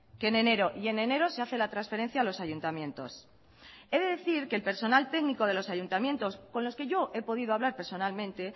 que en enero y en enero se hace la transferencia a los ayuntamientos he decir que el personal técnico de los ayuntamientos con los que yo he podido hablar personalmente